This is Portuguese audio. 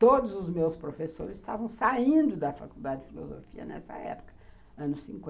Todos os meus professores estavam saindo da Faculdade de Filosofia nessa época, anos cinquenta.